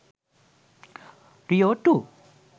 rio 2